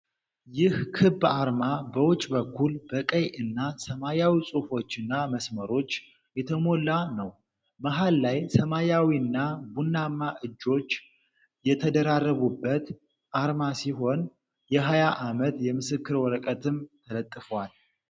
ይህ ክብ አርማ በውጭ በኩል በቀይ እና ሰማያዊ ጽሑፎችና መስመሮች የተሞላ ነው። መሃል ላይ ሰማያዊና ቡናማ እጆች የተደራረቡበት አርማ ሲሆን፣ የ20 ዓመት የምስክር ወረቀትም ተለጥፏል።